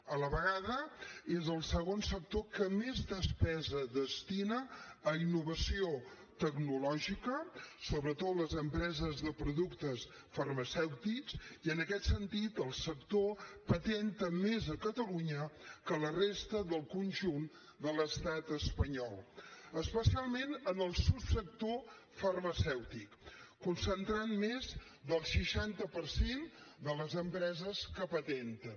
a la vegada és el segon sector que més despesa destina a innovació tecnològica sobretot les empreses de productes farmacèutics i en aquest sentit el sector patenta més a catalunya que a la resta del conjunt de l’estat espanyol especialment en el subsector farmacèutic i concentra més del seixanta per cent de les empreses que patenten